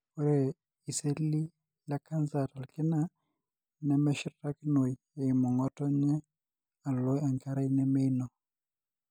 ore iseli le canser tolkina nemeshurtakinoi eimu ngotonye alo enkerai nemeino,